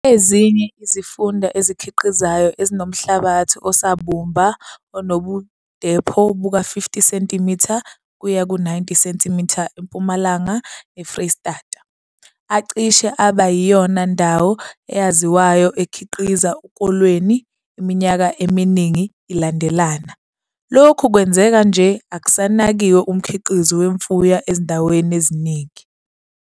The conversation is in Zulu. Ezinye izifunda ezikhiqizayo ezinomhlabathi osabumba onobudepho buka-50 cm kuya ku-90 cm eMpumalanga neFreyistata, acishe aba yiyona ndawo eyaziwayo ekhiqia ukolweni iminyaka eminingi ilandelana. Lokhu kwenzeka nje, akusanakiwe umkhiqizo wemfuyo ezindaweni eziningi.